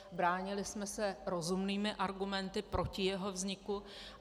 Bránili jsme se rozumnými argumenty proti jeho vzniku.